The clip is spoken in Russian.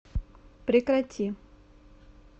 прекрати